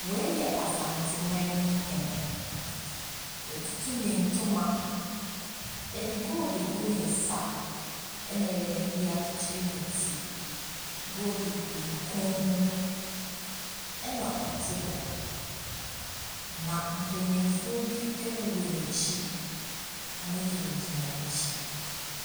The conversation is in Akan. Wei yɛ Asantehene, watutu ne ntoma, yɛde gold agu ne nsa na yɛde bi akyekyere ne ti. Gold gu ne kɔn mu na ɔte hɔ. na mpanimfoɔ bi wowɔ n’akyi, wɔgyinagyina n’akyi.